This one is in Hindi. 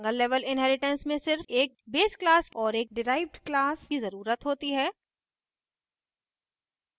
single level inheritance में सिर्फ एक base class और एक डिराइव्ड class की ज़रुरत होती है